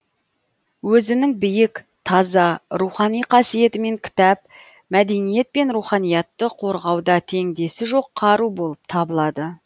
өзінің биік таза рухани қасиетімен кітап мәдениет пен руханиятты қорғауда теңдесі жоқ қару болып табылады